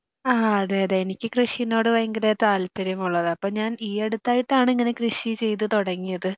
ആ അതെ അതെ എനിക്ക് കൃഷിനോട് ഭയങ്കര താല്പര്യം ഉള്ളതാ അപ്പോ ഞാൻ ഈ അടുത്തായിട്ടാണ് ഇങ്ങനെ കൃഷി ചെയ്തു തുടങ്ങിയത്.